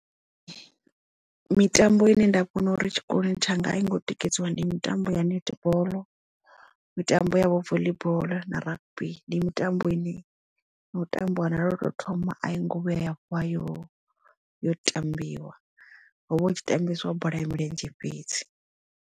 Mitambo ine nda kona uri tshikoloni tshanga a i ngo tikedziwa ndi mitambo ya netball mitambo yavho voḽi boḽo na rugby ndi mitambo ine no tambiwa na lwo to thoma a yi ngo vhuya ya vuwa yo yo tambiwa hovha hu tshi tambesiwa bola ya milenzhe fhedzi.